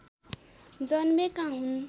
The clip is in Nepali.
जन्मेका हुन्